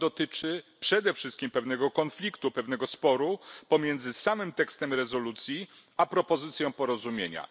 Dotyczy on przede wszystkim pewnego konfliktu, pewnego sporu pomiędzy samym tekstem rezolucji a propozycją porozumienia.